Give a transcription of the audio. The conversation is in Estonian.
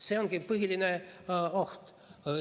See ongi põhiline oht.